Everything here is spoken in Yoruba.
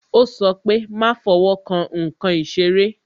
Ó sọ pé "má fowo kan nkan ìṣeré"